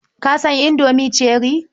Ka san Indomie cherrie?